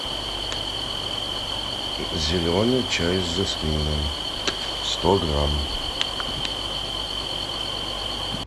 зеленый чай с жасмином сто грамм